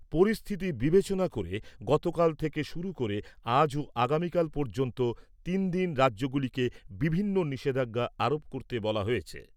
পরিস্থিতি বিবেচনা করে গতকাল থেকে শুরু করে আজ ও আগামীকাল পর্যন্ত তিন দিন রাজ্যগুলিকে বিভিন্ন নিষেধাজ্ঞা আরোপ করতে বলা হয়েছে।